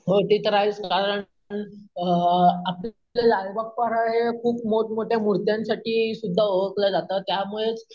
हो ते तर आहेच कारण अम आपलं लालबाग-परळ हे खूप मोठमोठ्या मुर्त्यांसाठी सुद्धा ओळखल जातं त्यामुळेच